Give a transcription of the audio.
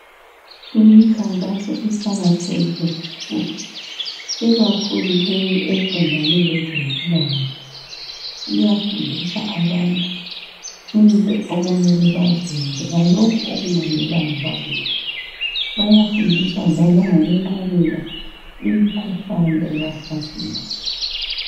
Imkhankaso iqakathekile kakhulu. Ikakhulu leyi eqondane lezempilakahle. Iyafundisa abantu into okumele bazenze lalokhu okungamelanga bakwenze. Bayafundiswa njalo langokwenqabela imikhuhlane ebahlaselayo.